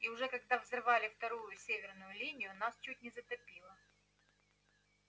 и уже когда взрывали вторую северную линию нас чуть не затопило